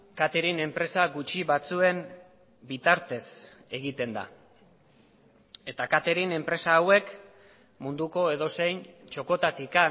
katering enpresa gutxi batzuen bitartez egiten da eta katering enpresa hauek munduko edozein txokotatik